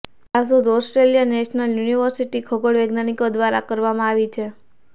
આ શોધ Australian National University ખગોળ વિજ્ઞાનીકો ઘ્વારા કરવામાં આવી છે